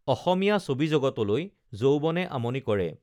অসমীয়া ছবিজগতলৈ যৌৱনে আমনি কৰে